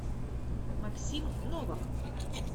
максим новак